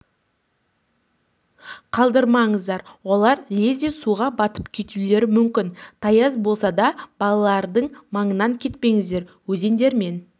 қалдырмаңыздар олар лезде суға батып кетулері мүмкін тайыз болса да балалардың маңынан кетпеңіздер өзендер мен